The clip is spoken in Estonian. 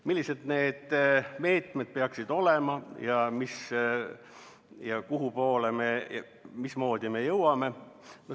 Millised need meetmed peaksid olema ning kuhu ja mismoodi me jõuame?